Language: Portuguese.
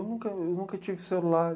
Eu nunca, eu nunca tive celular.